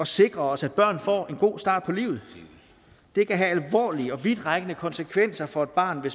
sikre os at børn får en god start på livet det kan have alvorlige og vidtrækkende konsekvenser for et barn